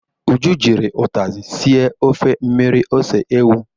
Uju jiri ụtazị sie ofe mmirir ose ewu.